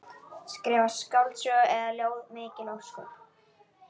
Skrifa skáldsögu eða ljóð, mikil ósköp.